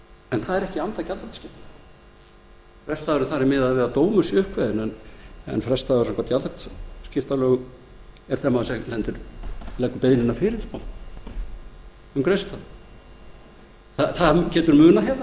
en það er ekki í anda gjaldþrotaskiptalaga frestdagur þarna er miðaður við að dómur sé uppkveðinn en frestdagur samkvæmt gjaldþrotaskiptalögum er þegar maður leggur beiðnina um greiðslustöðvun fyrir það getur munað